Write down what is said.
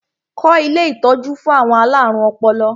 Kọ́ ilé ìtọ́jú fún àwọn alárùn ọpọlọ!